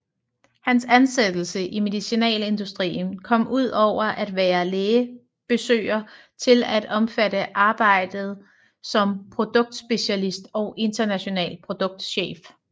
Hans ansættelse i medicinalindustrien kom ud over at være lægebesøger til at omfatte arbejdet som produktspecialist og international produktchef